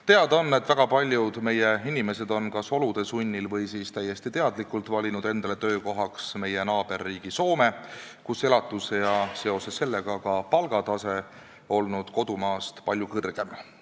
Teada on, et väga paljud meie inimesed on kas olude sunnil või siis muul põhjusel valinud endale töökohaks naaberriigi Soome, kus palgatase ja seoses sellega ka elatustase on palju kõrgem kui Eestis.